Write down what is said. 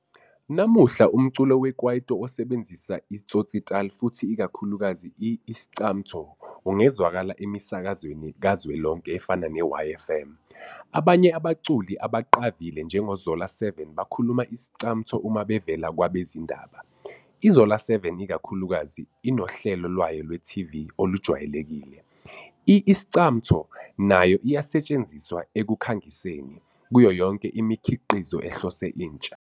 Namuhla, umculo wekwaito osebenzisa i-tsotsitaal futhi ikakhulukazi i-Iscamtho ungezwakala emisakazweni kazwelonke efana ne-YFM, ye-Youth FM. Abanye abaculi abaqavile njengoZola7 bakhuluma Iscamtho uma bevela kwabezindaba, iZola7 ikakhulukazi inohlelo lwayo lweTV olujwayelekile. I-Iscamtho nayo iyasetshenziswa ekukhangiseni, kuyo yonke imikhiqizo ehlose intsha.